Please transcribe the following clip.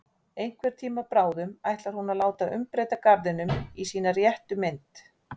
Einhvern tíma bráðum ætlar hún að láta umbreyta garðinum í sína réttu mynd.